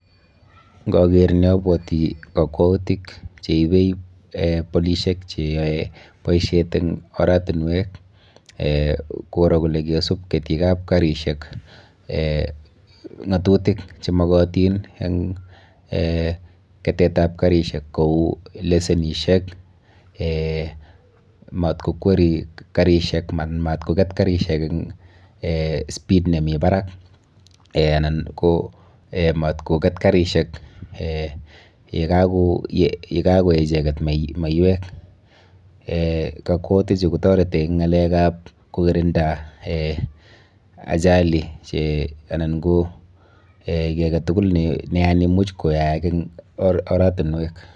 Ngager ni abuoti akwoutik cheibe polishek cheaye boiset eng oratinwek koro kole kosub ketik ab karishek ngotutik chemogatin eng ketet ab korishek kou lesenishek, matkokweri karishek eng speed nemi barak anan matkoket karishek ye kakoeik icheket maiywek kakwotik chu kotaretech eng ngalek ab korinda ,achali anan ki agetuluk nemuch kayaak eng oratinwek